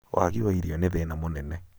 waagi wa irio nĩ thĩna mũnene